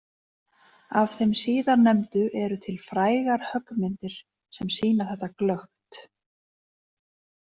Af þeim síðarnefndu eru til frægar höggmyndir sem sýna þetta glöggt.